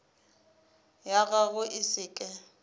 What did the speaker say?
ya gago e se ke